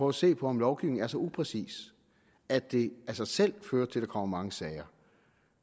at se på om lovgivningen er så upræcis at det af sig selv fører til at der kommer mange sager